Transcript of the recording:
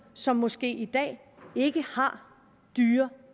som måske i dag ikke har dyre